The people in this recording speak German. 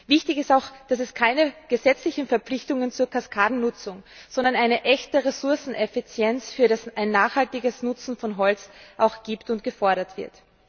Wichtig ist auch, dass es keine gesetzlichen Verpflichtungen zur Kaskadennutzung, sondern eine echte Ressourceneffizienz für ein nachhaltiges Nutzen von Holz gibt und dies auch gefordert wird.